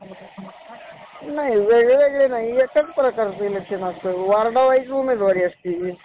त्याच वेळी या वाहनामधून निघणाऱ्या धुरामुळे आपले पर्यावरणाही जलत होत हाय प्रदूषित. पर्यावरण कशाला म्हणतात. आपल्या